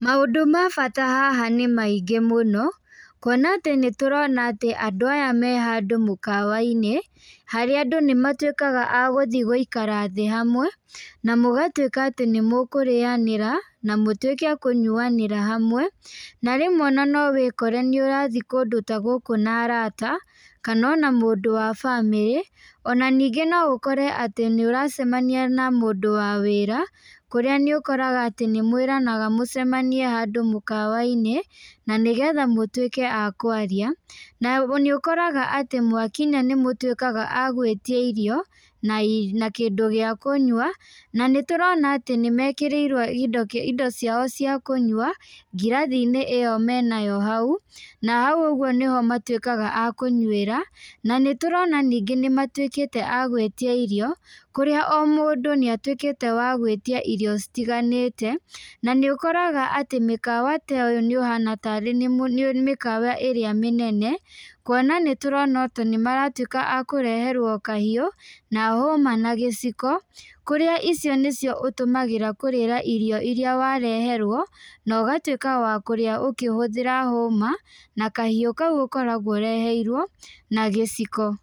Maũndũ ma bata haha nĩ maingĩ mũno, kuona atĩ nĩtũrona atĩ andũ aya me handũ mũkawa-inĩ, harĩa andũ nĩmatwĩkaga agũthiĩ gũikara hamwe, na mũgatwĩka atĩ nĩ mũkũrĩanĩra, na mũtwĩke akũrĩanĩra hamwe , na rĩmwe no wĩkore ũrathiĩ kũndũ ta gũkũ na arata , kana ona mũndũ wa bamĩrĩ, ona ningĩ no ũkore ũracemania na mũndũ wa wĩra, kũrĩa nĩ ũkoraga atĩ nĩ mwĩranaga mũcemanie handũ mũkawa-inĩ na nĩgetha mũtwĩke akwaria, na nĩ ũkoraga atĩ mwakinya nĩmũtwĩkaga agwĩtia irio na kĩndũ gĩa kũnyua, na nĩ tũrona atĩ nĩmekĩrĩirwo indo ciao cia kũnyua ngirathi-inĩ ĩyo menayo hau, na hau ũgwo nĩho matwĩkaga akũnyuĩra, na nĩtũrona ningĩ nĩmatwĩkĩte agwĩtia irio, kũrĩa o mũndũ nĩ atwĩkĩte wa gwĩtia irio citiganĩte, na nĩ ũkoraga atĩ mĩkawa ta ĩyo nĩ ĩhana tarĩ mĩkawa ĩrĩa mĩnene, kuona atĩ nĩtũrona atĩ nĩmaratwĩka akũreherwo kahiũ na hũma na gĩciko, kũrĩa icio nĩ cio ũtũmagĩra kũrĩa irio iria wareherwo, na ũgatwĩka wa kũrĩa ũkĩhũthĩra hũma, na kahiu kaũ ũkoragwo ũreheirwo na gĩciko.